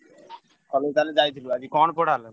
College ତାହେଲେ ଯାଇଥିଲୁ ଆଜି କଣ ପଢାହେଲା?